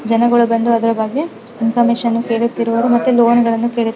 ಜನಗಳು ಬಂದು ಅದ್ರ್ ಬಗ್ಗೆ ಇನ್ಫಾರ್ಮಶನ್ ಕೇಳುತ್ತಿರುವರು ಮತ್ತು ಲೋನ್ ಗಳನ್ನು ಕೇಳುತ್ತಿರು --